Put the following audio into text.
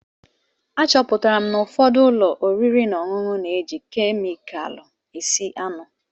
Achọpụtara n'ụfọdụ ụlọ oriri na ọṅụṅụ na-eji kemịkalụ esi anụ.